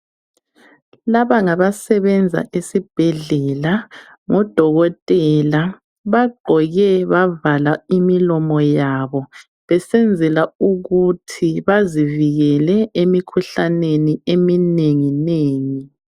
Laba ngabasebenza esibhedlela ngodokotela bagqoke bavala imlomo yabo besenzela ukuthi bazivikele emikhuhlaneni eminengi nengi.